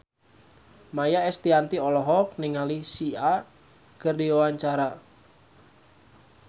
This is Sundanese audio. Maia Estianty olohok ningali Sia keur diwawancara